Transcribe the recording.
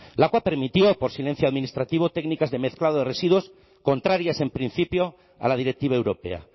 lakua permitía por silencio administrativo técnicas de mezclado de residuos contrarias en principio a la directiva europea